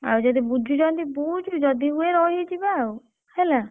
ଆଉ ଯଦି ବୁଝୁଛନ୍ତି ବୁଝ ଯଦି ହୁଏ ରହିଯିବା ଆଉ ହେଲା।